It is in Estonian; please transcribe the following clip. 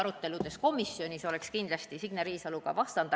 Komisjonis peetud aruteludes oleks ka Signe Riisalo kindlasti vastanud.